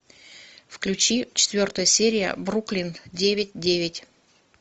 включи четвертая серия бруклин девять девять